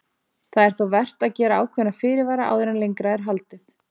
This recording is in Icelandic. Það er þó vert að gera ákveðna fyrirvara áður en lengra er haldið.